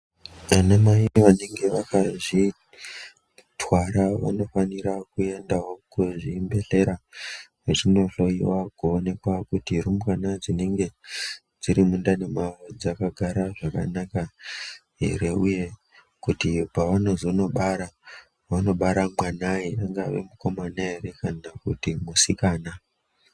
Anamai vanenge vakazvitwara vanofanira kuendawo kuzvibhedhlera vechinohloiwa kuonekwa kuti rumbwana dzinenge dziri mundani mwawo dzakagara zvakanaka here. Uye kuti pavanozobara vanobara mwanai, angave mukomana here kana kuti musikana.